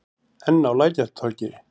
Enn á Lækjartorgi.